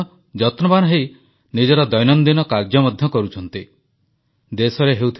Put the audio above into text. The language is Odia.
କରୋନାର ଏହି ସଙ୍କଟ ସମୟରେ ଲୋକଙ୍କ ମଧ୍ୟରେ ଉତ୍ସାହ ଉଦ୍ଦୀପନା ତ ରହିଛି କିନ୍ତୁ ଆମ ସମସ୍ତଙ୍କ ମନକୁ ଛୁଇଁଗଲା ଭଳି ଶୃଙ୍ଖଳା ଭାବ ମଧ୍ୟ ରହିଛି